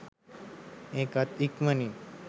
ඒකත් ඉක්මනින්ම